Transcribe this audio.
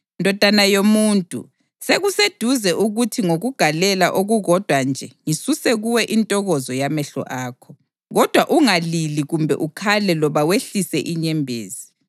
“Ndodana yomuntu, sekuseduze ukuthi ngokugalela okukodwa nje ngisuse kuwe intokozo yamehlo akho. Kodwa ungalili kumbe ukhale loba wehlise inyembezi.